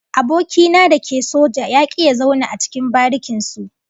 Aboki na da ke soja ya ki ya zauna a cikin barikin su